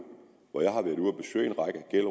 her